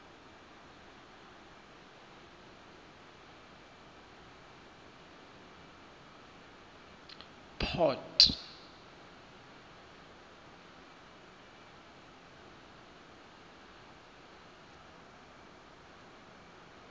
port